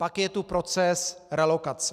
Pak je tu proces relokace.